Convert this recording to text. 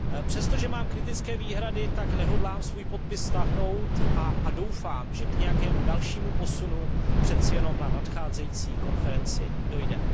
Přestože mám kritické výhrady, tak nehodlám svůj podpis stáhnout a doufám, že k nějakému dalšímu posunu přece jenom na nadcházející konferenci dojde.